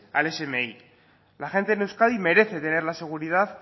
al smi la gente en euskadi merece tener la seguridad